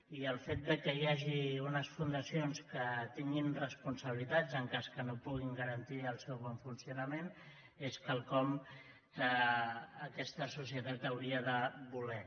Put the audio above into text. i el fet que hi hagi unes fundacions que tinguin responsabilitats en cas que no puguin garantir el seu bon funcionament és quelcom que aquesta societat hauria de voler